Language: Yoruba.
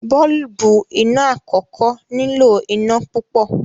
boolubu iná àkókò nilo iná pupọ.